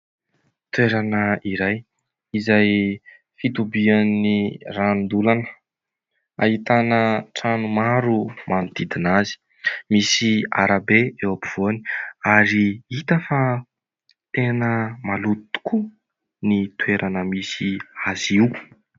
Toerana iray izay fitobian'ny ranondolana ahitana trano maro manodidina azy, misy arabe eo afovoany ary hita fa tena maloto tokoa ny toerana misy azy io.